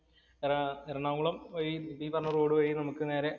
എറ എറണാകുളം വഴി ഈ പറഞ്ഞ റോഡ്‌ വഴി നമുക്ക് നേരെ